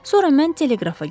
Sonra mən teleqrafa girdim.